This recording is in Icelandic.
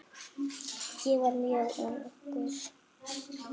Ég var mjög ungur.